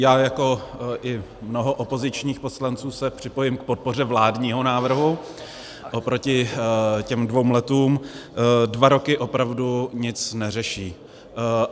Já jako i mnoho opozičních poslanců se připojím k podpoře vládního návrhu oproti těm dvěma rokům, dva roky opravdu nic neřeší.